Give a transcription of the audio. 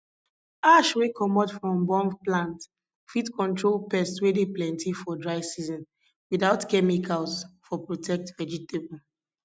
ash wey comot from burn plant fit control pests wey dey plenty for dry season without chemicals for protect vegetable